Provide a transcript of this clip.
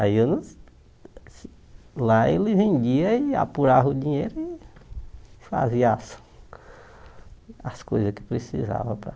Aí eu não lá ele vendia e apurava o dinheiro e fazia as as coisas que precisava para...